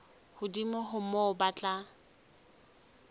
hodimo ho moo ba tla